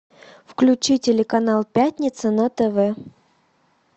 включи телеканал пятница на тв